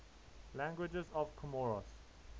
languages of comoros